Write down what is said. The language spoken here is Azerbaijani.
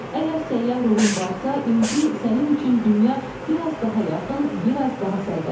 Əgər səyyah ruhun varsa, indi sənin üçün dünya biraz daha yaxın, biraz daha sərbəstdir.